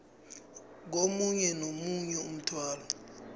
komunye nomunye umthwalo